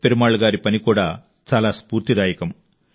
పెరుమాళ్ గారి పని కూడా చాలా స్ఫూర్తిదాయకం